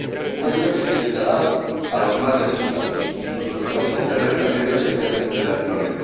Una ayuda que se destinará a los más necesitados, incluso en los países de renta media, especialmente de América Latina.